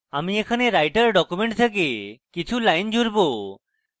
আমি এখানে writer document থেকে কিছু lines জুড়ব